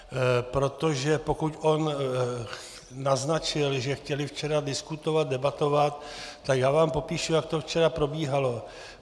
Protože pokud on naznačil, že chtěli včera diskutovat, debatovat, tak já vám popíšu, jak to včera probíhalo.